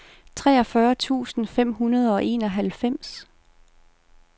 treogfyrre tusind fem hundrede og enoghalvfems